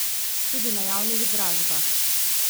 Tudi na javnih dražbah.